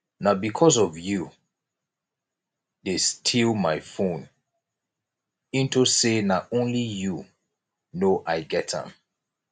na because of you dey steal my phone into say na only you no i get am